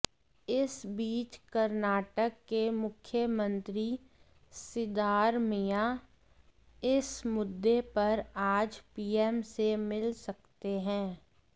इस बीच कर्नाटक के मुख्यमंत्री सिद्धारमैया इस मुद्दे पर आज पीएम से मिल सकते हैं